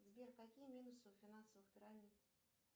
сбер какие минусы у финансовых пирамид